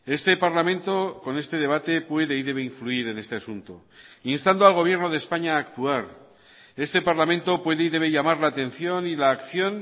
este parlamento con este debate puede y debe influir en este asunto instando al gobierno de españa a actuar este parlamento puede y debe llamar la atención y la acción